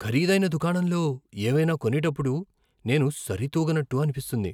ఖరీదైన దుకాణంలో ఏవైనా కొనేటప్పుడు నేను సరితూగనట్టు అనిపిస్తుంది.